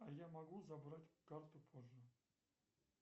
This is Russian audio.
а я могу забрать карту позже